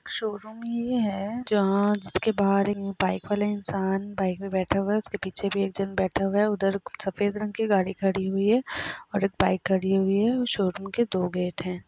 Showroom ये है जहाँ जिसके बाहर एक बाइक वाला इन्सान बाइक पे बैठा हुआ है उसके पीछे एक जन बैठा हुआ है उधर सफ़ेद रंग की गाड़ी खड़ी हुई हैं और एक बाइक खड़ी हुई हैं और शोरूम के दो गेट है।